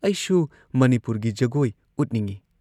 ꯑꯩꯁꯨ ꯃꯅꯤꯄꯨꯔꯒꯤ ꯖꯒꯣꯏ ꯎꯠꯅꯤꯡꯏ ꯫